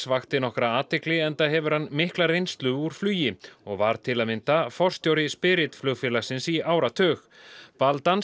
vakti nokkra athygli enda hefur hann mikla reynslu úr flugi og var til að mynda forstjóri flugfélagsins í áratug